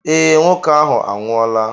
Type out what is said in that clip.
Ee, nwoke ahụ anwụọla.